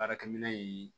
Baarakɛminɛn in